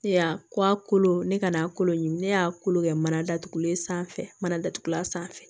Ne y'a ko a kolo ne ka n'a kolo ɲimi ne y'a kolo kɛ mana datugulen sanfɛ mana datugulan sanfɛ